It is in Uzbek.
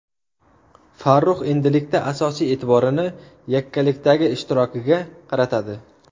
Farrux endilikda asosiy e’tiborini yakkalikdagi ishtirokiga qaratadi.